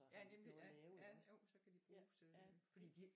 Ja nemlig ja ja jo så kan de bruges øh